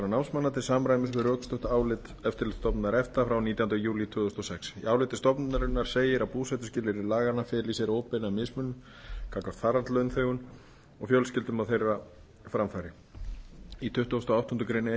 námsmanna til samræmis við rökstutt álit eftirlitsstofnunar efta frá nítjándu júlí tvö þúsund og sex í áliti stofnunarinnar segir að búsetuskilyrði laganna feli í sér óbeina mismunun gagnvart farandlaunþegum og fjölskyldum á framfæri þeirra í tuttugasta og áttundu grein e e s